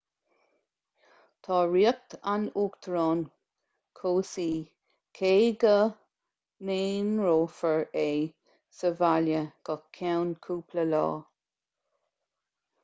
tá riocht an uachtaráin cobhsaí cé go n-aonrófar é sa bhaile go ceann cúpla lá